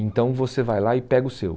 Então você vai lá e pega o seu.